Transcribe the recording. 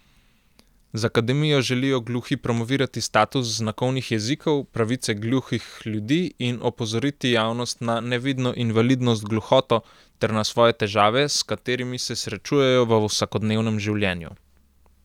Z akademijo želijo gluhi promovirati status znakovnih jezikov, pravice gluhih ljudi in opozoriti javnost na nevidno invalidnost gluhoto ter na svoje težave, s katerimi se srečujejo v vsakodnevnem življenju.